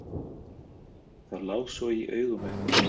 Það lá svo í augum uppi.